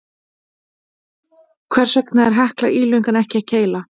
Hvers vegna er Hekla ílöng en ekki keila?